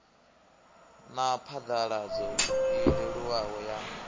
na phaḓaladzo i leluwaho ya